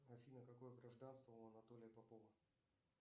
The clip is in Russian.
афина какое гражданство у анатолия попова